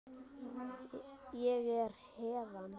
Ég er héðan